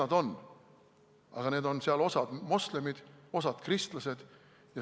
Aga osa neist on seal moslemid, osa kristlased.